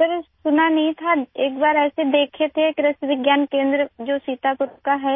سر، میں نے نہیں سنا تھا ایک بار ایسے دیکھے تھے ، سیتا پور کے کرشی وگیان کیندر میں،